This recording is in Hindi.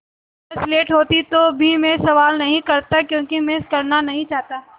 अगर स्लेट होती तो भी मैं सवाल नहीं करता क्योंकि मैं करना नहीं चाहता